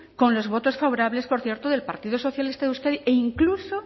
con los votos favorables por cierto del partido socialista de euskadi e incluso